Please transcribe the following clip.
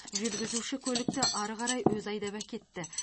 жүргізуші көлікті ары қарай өзі айдап әкетті